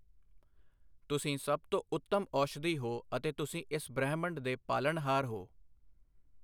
ਤੁਸੀਂ ਸਭ ਤੋਂ ਉੱਤਮ ਔਸ਼ਧੀ ਹੋ ਅਤੇ ਤੁਸੀਂ ਇਸ ਬ੍ਰਹਿਮੰਡ ਦੇ ਪਾਲਣਹਾਰ ਹੋ।